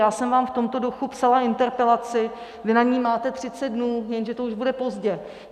Já jsem vám v tomto duchu psala interpelaci, vy na ni máte 30 dnů, jenže to už bude pozdě.